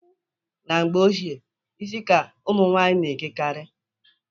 Na mgbe ochie isi ka ụmụnwanyị na-ekekarị.